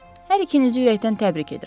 Hər ikinizi ürəkdən təbrik edirəm.